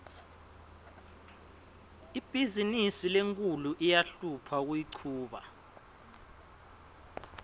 ibhizimisi lenkhulu iyahlupha kuyichuba